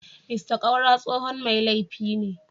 Mr Kaura tsohon mai laifi ne.